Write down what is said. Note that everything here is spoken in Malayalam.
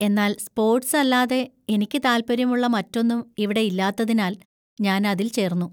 എന്നാൽ സ്‌പോർട്‌സ് അല്ലാതെ എനിക്ക് താൽപ്പര്യമുള്ള മറ്റൊന്നും ഇവിടെ ഇല്ലാത്തതിനാൽ ഞാൻ അതിൽ ചേർന്നു.